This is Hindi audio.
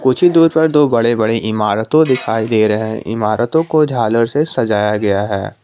कुछ ही दूर पर दो बड़ी बड़ी इमारतों दिखाई दे रही हैं इमारतों को झालर से सजाया गया है।